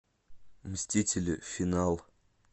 мстители финал